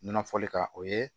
Nɔnɔ fɔli kan o ye